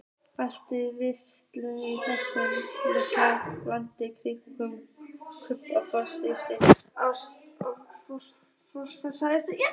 Allt virtist endalaust í þessu litla landi: rigningin, kaupfélagssjoppurnar, fólksfæðin.